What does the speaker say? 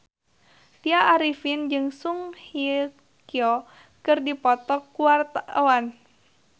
Tya Arifin jeung Song Hye Kyo keur dipoto ku wartawan